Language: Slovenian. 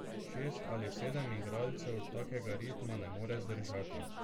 Šest ali sedem igralcev takega ritma ne more zdržati.